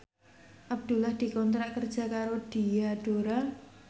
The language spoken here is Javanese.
Abdullah dikontrak kerja karo Diadora